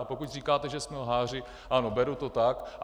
A pokud říkáte, že jsme lháři, ano, beru to tak.